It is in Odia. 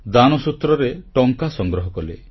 ଦାନସୂତ୍ରରେ ଟଙ୍କା ସଂଗ୍ରହ କଲେ